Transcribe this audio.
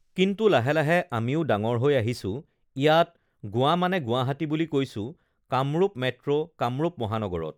কিন্তু লাহে লাহে আমিও ডাঙৰ হৈ আহিছোঁ, ইয়াতে গুৱা মানে গুৱাহাটী বুলি কৈছোঁ কামৰূপ মেট্ৰ', কামৰূপ মহানগৰত